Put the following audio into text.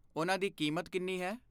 ਉਹਨਾਂ ਦੀ ਕੀਮਤ ਕਿੰਨੀ ਹੈ?